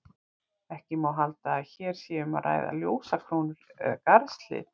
Ekki má halda að hér sé um að ræða ljósakrónur eða garðshlið.